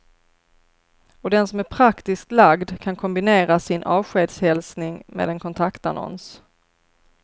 Och den som är praktiskt lagd kan kombinera sin avskedshälsning med en kontaktannons.